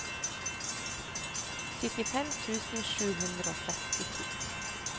syttifem tusen sju hundre og sekstito